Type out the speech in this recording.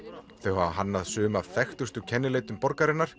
þau hafa hannað sum af þekktustu kennileitum